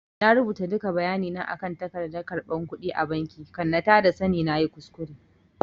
I rubuta duka bayani na akan tagardan karɓan kudi a banki kan na tada sani nayi kuskure